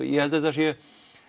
ég held að þetta sé